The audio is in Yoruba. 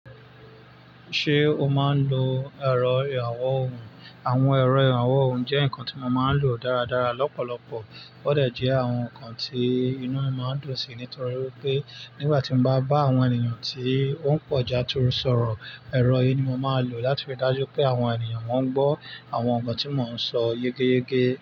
Ṣé o máa ń lo ẹ̀rọ ìrànwọ́ ohùn? Àwọn ẹ̀rọ ìrànwọ́ ohùn jẹ́ ǹkan tí mo máa ń lò dáradára lọ́pọ̀lọpọ̀. Ó dẹ̀ jẹ́ àwọn ǹkan tí inú mi máa ń dùn sí ní torí pé nígbà tí mo bá bá àwọn ènìyàn tí ó ń pọ̀jà tó sọ̀rọ̀, ẹ̀rọ yìí ni mo máa ń lò láti rí i dájú pé àwọn ènìyàn won ń gbọ́ àwọn ǹkan tí mò ń sọ yekeyeke.